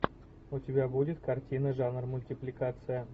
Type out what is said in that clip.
у тебя будет картина жанр мультипликация